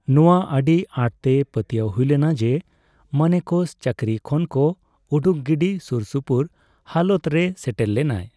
ᱱᱚᱣᱟ ᱟᱹᱰᱤ ᱟᱸᱴᱛᱮᱭ ᱯᱟᱹᱛᱤᱭᱟᱣ ᱦᱩᱭᱞᱮᱱᱟ ᱡᱮ ᱢᱟᱱᱮᱠᱚᱥ ᱪᱟᱹᱠᱨᱤ ᱠᱷᱚᱱᱠᱚ ᱩᱰᱩᱠ ᱜᱤᱰᱤ ᱥᱩᱨᱥᱩᱯᱩᱨ ᱦᱟᱞᱚᱛ ᱨᱮᱭ ᱥᱮᱴᱮᱨ ᱞᱮᱱᱟᱭ ᱾